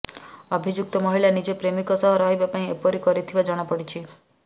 ଅଭିଯୁକ୍ତ ମହିଳା ନିଜ ପ୍ରେମିକ ସହ ରହିବା ପାଇଁ ଏପରି କରିଥିବା ଜଣାପଡ଼ିଛି